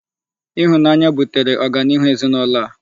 Ịhụnanya butere ọganihu ezinụlọ a.